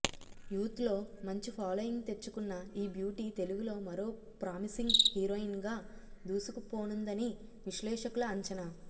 youth లో మంచి following తెచ్చుకున్న ఈ బ్యూటీ తెలుగులో మరో ప్రామిసింగ్ హీరోయిన్గా దూసుకుపోనుందని విశ్లేషకుల అంచనా